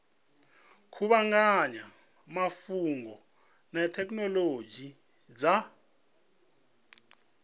kuvhanganya mafhungo na thekhinolodzhi dza